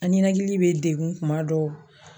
A ninakili bɛ degun kuma dɔw